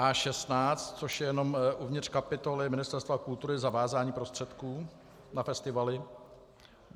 A16, což je jenom uvnitř kapitoly Ministerstva kultury - zavázání prostředků na festivaly.